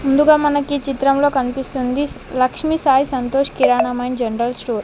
ముందుగా మనకీ చిత్రంలో కనిపిస్తుంది లక్ష్మీ సాయి సంతోష్ కిరాణం అండ్ జనరల్ స్టోర్ .